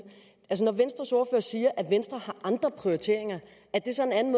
når siger at venstre har andre prioriteringer er det så en anden